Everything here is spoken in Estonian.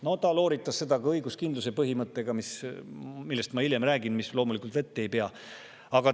No ta looritas seda ka õiguskindluse põhimõttega, mis loomulikult vett ei pea, sellest ma räägin hiljem.